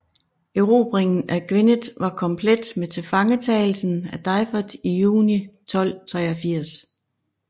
Erobringen af Gwynedd var komplet med tilfangetagelsen af Dafydd i juni 1283